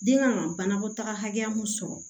Den kan ka banakɔtaga hakɛya mun sɔrɔ